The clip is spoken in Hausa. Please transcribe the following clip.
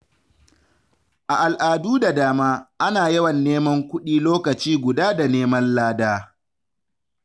A al’adu da dama, ana yawan neman kuɗi lokaci guda da neman lada.